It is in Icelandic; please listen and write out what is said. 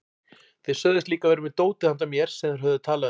Þeir sögðust líka vera með dótið handa mér sem þeir höfðu talað um.